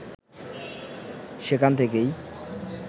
সেখান থেকেই